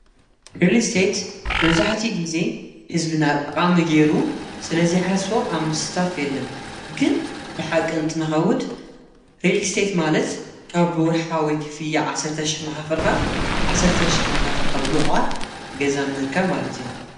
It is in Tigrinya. ሬሊስቴት መብዛሕቲኡ ጊዜ ሕዝቢና ጠቓሚ ገይሩ ስለዘይሓስቦ ኣብ ምስታፍ የለን ግን ብሓቂ እንትንከውድ ሬሊስቴት ማለት ካብ ብወርሓዊ ክፍሊት ዓሠርተ ሽሕ ናኸፈልኻ ዓሠርተ ሽሕ ናከፈልካ ብምዕቋር ገዛ ምርካብ ማለት እዩ።